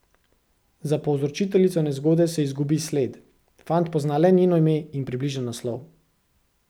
Za povzročiteljico nezgode se izgubi sled, fant pozna le njeno ime in približen naslov.